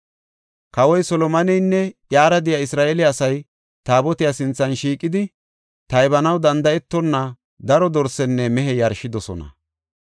Kawoy Solomoneynne iyara de7iya Isra7eele asay Taabotiya sinthan shiiqidi, taybanaw danda7etonna daro dorsenne mehe yarshidosona.